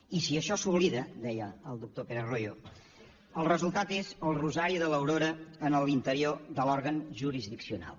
i si això s’oblida deia el doctor pérez royo el resultat és el rosari de l’aurora en l’interior de l’òrgan jurisdiccional